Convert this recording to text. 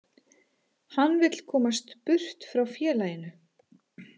Hann vill komast burt frá félaginu.